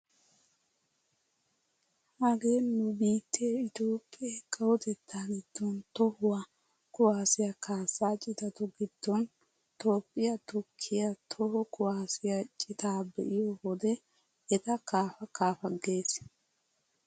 Hagee nu biittee Itoophphee kawotettaa giddon tohuwaa kuwaasiyaa kaassaa citatu giddon toophphiyaa tukkiyaa toho kuwaasiyaa citaa be'iyo wode eta kaafa kaafa gees!